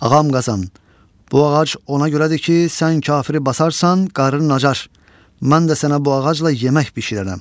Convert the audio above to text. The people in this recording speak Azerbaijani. Ağam Qazan, bu ağac ona görədir ki, sən kafiri basarsan, qarnın acaır, mən də sənə bu ağacla yemək bişirərəm.